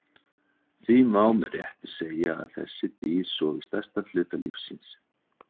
Því má með réttu segja að þessi dýr sofi stærstan hluta lífs síns.